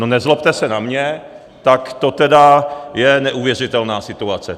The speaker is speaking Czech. No nezlobte se na mě, tak to tedy je neuvěřitelná situace!